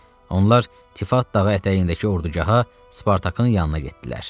Onlar Tifat dağı ətəyindəki ordugaha Spartakın yanına getdilər.